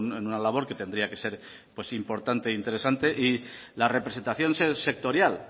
en una labor que tendría que ser pues importante e interesante la representación sectorial